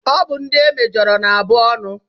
Ọ bụ ndị e mejọrọ na abụ ọnụ.